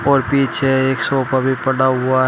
और पीछे एक सोफा भी पड़ा हुआ --